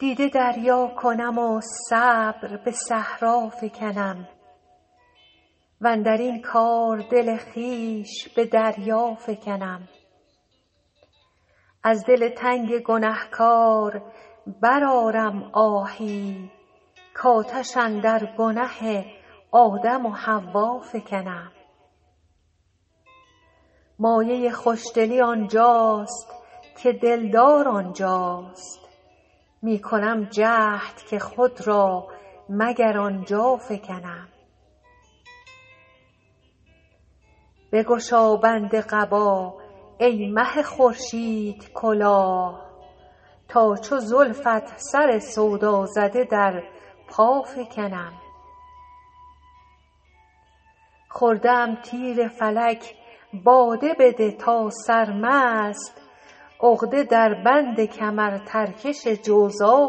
دیده دریا کنم و صبر به صحرا فکنم واندر این کار دل خویش به دریا فکنم از دل تنگ گنه کار برآرم آهی کآتش اندر گنه آدم و حوا فکنم مایه خوش دلی آن جاست که دل دار آن جاست می کنم جهد که خود را مگر آن جا فکنم بگشا بند قبا ای مه خورشیدکلاه تا چو زلفت سر سودا زده در پا فکنم خورده ام تیر فلک باده بده تا سرمست عقده در بند کمرترکش جوزا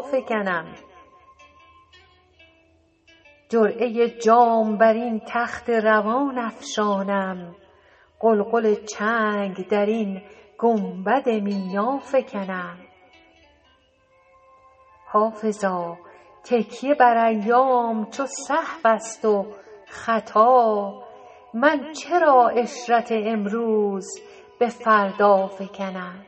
فکنم جرعه جام بر این تخت روان افشانم غلغل چنگ در این گنبد مینا فکنم حافظا تکیه بر ایام چو سهو است و خطا من چرا عشرت امروز به فردا فکنم